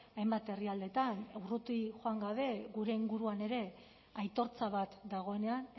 hainbat herrialdetan urruti joan gabe gure inguruan ere aitortza bat dagoenean